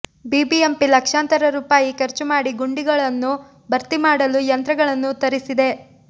BBMP ಲಕ್ಷಾಂತರ ರೂಪಾಯಿ ಖರ್ಚು ಮಾಡಿ ಗುಂಡಿಗಳನ್ನು ಭರ್ತಿ ಮಾಡಲು ಯಂತ್ರಗಳನ್ನು ತರಿಸಿದೆ